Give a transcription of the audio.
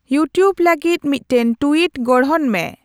YouTube ᱞᱟᱹᱜᱤᱫ ᱢᱤᱫᱴᱟᱝ tweet ᱜᱚᱲᱦᱚᱱ ᱢᱮ